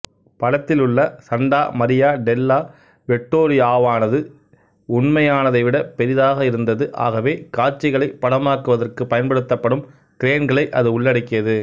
படத்திலுள்ள Santa Maria della வெட்டோரியாவானது உண்மையானதைவிட பெரிதாக இருந்தது ஆகவே காட்சிகளைப் படமாக்குவதற்குப் பயன்படுத்தப்படும் கிரேன்களை அது உள்ளடக்கியது